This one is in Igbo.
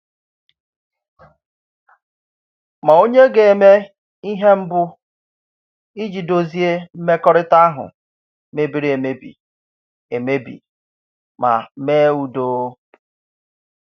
Ma ònye ga-eme ihe mbù iji dozie mmekọrịta ahụ mebiri emebi emebi ma mee udo?